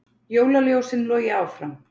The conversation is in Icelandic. Jólaljósin logi áfram